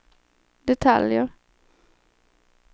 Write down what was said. detaljer